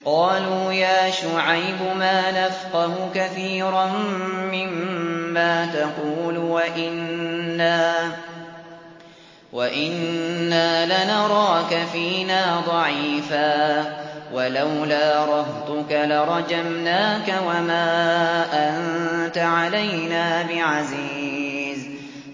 قَالُوا يَا شُعَيْبُ مَا نَفْقَهُ كَثِيرًا مِّمَّا تَقُولُ وَإِنَّا لَنَرَاكَ فِينَا ضَعِيفًا ۖ وَلَوْلَا رَهْطُكَ لَرَجَمْنَاكَ ۖ وَمَا أَنتَ عَلَيْنَا بِعَزِيزٍ